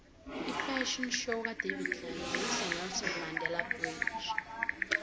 ifafhion show kadavid tlale beyise nelson mandele bridge